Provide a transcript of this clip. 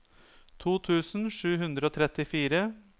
to tusen sju hundre og trettifire